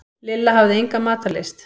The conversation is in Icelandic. Lilla hafði enga matarlyst.